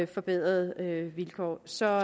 forbedrede vilkår så